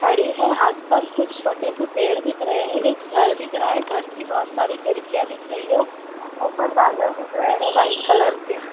खड़ी हैं। आस-पास कुछ छोटे से पेड़ दिख रहे हैं। एक घर दिख रहा है घर की बहोत सारी खिड़कियाँ दिख रही हैं। ऊपर बादल दिख रहे है वाइट कलर के --